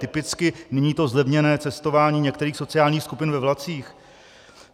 Typicky, nyní to zlevněné cestování některých sociálních skupin ve vlacích?